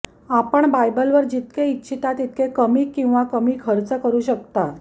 आपण बायबलवर जितके इच्छिता तितके कमी किंवा कमी खर्च करू शकता